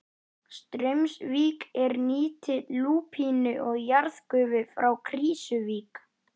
Straumsvík er nýtti lúpínu og jarðgufu frá Krýsuvík.